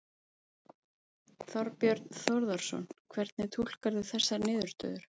Þorbjörn Þórðarson: Hvernig túlkarðu þessar niðurstöður?